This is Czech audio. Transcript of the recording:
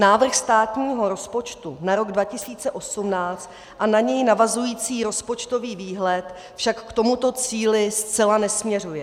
Návrh státního rozpočtu na rok 2018 a na něj navazující rozpočtový výhled však k tomuto cíli zcela nesměřuje.